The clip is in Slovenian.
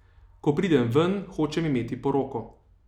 Ko pridem ven, hočem imeti poroko.